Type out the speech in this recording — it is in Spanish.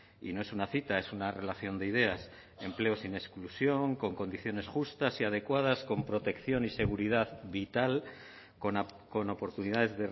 y no es una cita es una relación de ideas empleo sin exclusión con condiciones justas y adecuadas con protección y seguridad vital con oportunidades